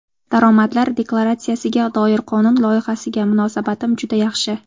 Daromadlar deklaratsiyasiga doir qonun loyihasiga munosabatim juda yaxshi.